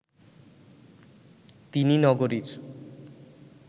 তিনি নগরীর